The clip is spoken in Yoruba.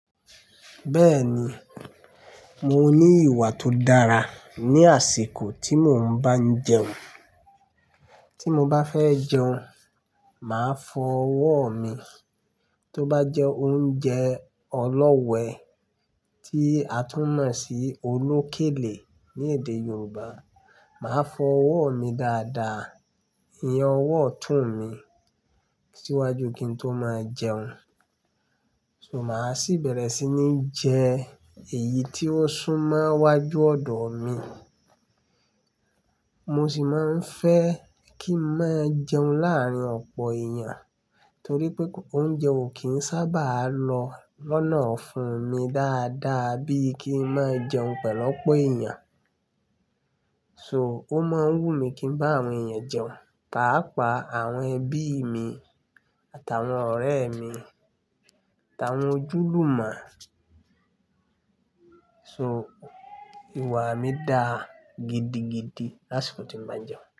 Bẹ́ẹ̀ni, mo ní ìwà tó dára ní àsìkò tí mo ń bá n jẹun. Tí mo bá fẹ́ jẹun, màá fọ ọwọ́ mi. Tó bá jẹ́ oúnjẹ ọlọ́we, tí a tún mọ̀ sí olókèlè ní èdè Yorùbá, màá fọ ọwọ́ mi dáadáa. Iyen ọwọ́ otún mi síwájú kí n tó máa jẹun. So máa sì bẹ̀rẹ̀ sí ní jẹ èyí tí ó sún mọ́ wájú ọ̀dọ̀ mi. Mo sì máa ń fẹ́ kí n má jẹun láàrín ọ̀pọ̀ èèyàn torí pé oúnjẹ ò kí ń sábà lọ lọ́nà ofún mi dáadáa bí kí n máa jẹun pẹ̀lú ọ̀pọ̀ èèyàn. So, ó máa ń wù mí kí n bá àwọn èèyàn jẹun, pàápàá àwọn ẹbí mi àtàwọn ọ̀rẹ́ mi àtàwọn ojúlùmo. So, ìwà mi dá gidigidi lásìkò tí mo bá n jẹun.